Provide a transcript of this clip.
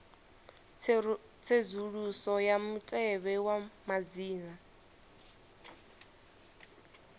tsedzuluso ya mutevhe wa madzina